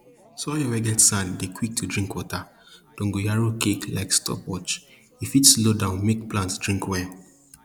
soil we get sand dey quick to drink water dongoyaro cake like stopwatch e fit slow down make plant drink well